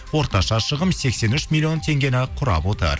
орташа шығын сексен үш миллион теңгені құрап отыр